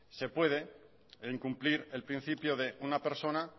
se puede incumplir el principio de una persona